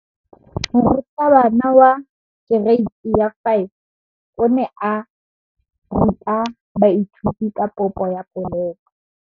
Moratabana wa kereiti ya 5 o ne a ruta baithuti ka popô ya polelô.